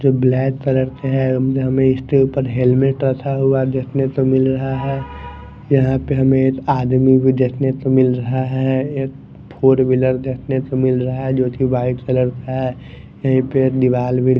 जो black colour में है हमें इसके ऊपर हेल्मेट रथा हुआ देखने तो मिल रहा है यहां पे हमें एक आदमी भी देखने तो मिल रहा है एक फोर व्हीलर देखने तो मिल रहा है जो की वाइट कलर का है यहीं पे एक दीवाल भी--